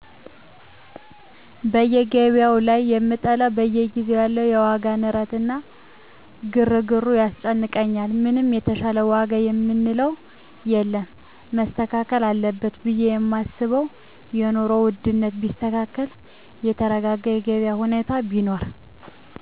በገቢያዉ ላይ የምጠላዉ በየጊዜዉ ያለዉ የዋጋ ንረት እና ግርግሩ ያስጨንቀኛል ምንም የተሻለ ዋጋ የምንለዉ የለም መስተካከል አለበት ብየ የማስበዉ የኑሮ ዉድነቱ ቢስተካከል የተረጋጋ የገቢያ ሁኔታ ቢኖር